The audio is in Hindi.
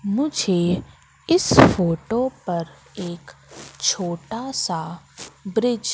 मुझे इस फोटो पर एक छोटा सा ब्रिज --